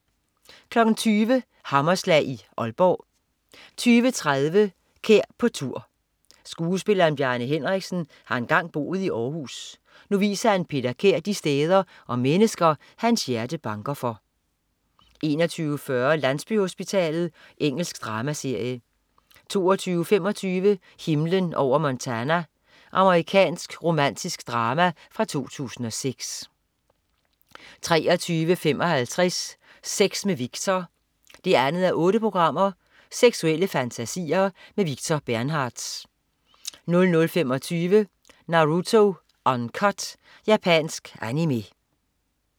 20.00 Hammerslag i Ålborg 20.30 Kær på tur. Skuespilleren Bjarne Henriksen har engang boet i Århus. Nu viser han Peter Kær de steder og mennesker, hans hjerte banker for 21.40 Landsbyhospitalet. Engelsk dramaserie 22.25 Himlen over Montana. Amerikansk romantisk drama fra 2006 23.55 Sex med Victor 2:8. Seksuelle fantasier. Victor Bernhardtz 00.25 Naruto Uncut. Japansk Animé